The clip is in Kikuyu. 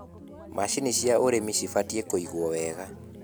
macinĩ cia ũrĩmi cibatie kuigwo wega